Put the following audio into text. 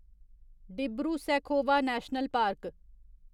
Dibru Saikhowa national park